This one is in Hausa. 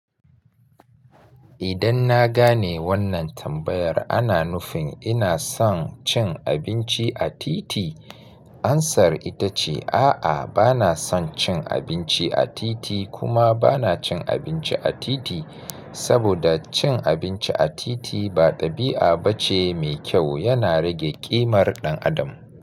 Idan na gane wannan tambayar ana nufin ina son cin abinci a titi, amsar ita ce a'a bana son cin abinci a titi kuma bana cin abinci a titi, saboda cin abinci a titi ba ɗabi'a bace mai kyau, yana rage ƙimar ɗan adam.